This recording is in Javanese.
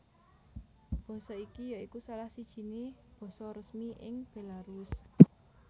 Basa iki ya iku salah sijiné basa resmi ing Bélarus